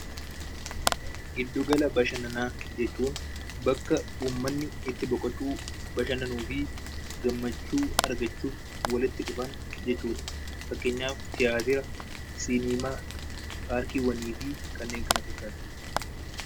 Giddugala bashannanaa jechuun bakka ummanni itti boqotuu, bashannanuu fi gammachuu argachuuf walitti dhufan jechuu dha. Fakkeenyaaf, tiyaatira, siiniimaa, paarkiiwwanii fi kanneen kana fakkaatan.